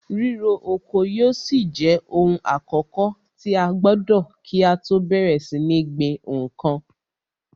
Ríro oko yóò ṣì jẹ ohun àkọ́kọ̀ tí a gbọdọ̀ kí á tọ́ bẹ̀rẹ̀ sí ní gbin nǹkan.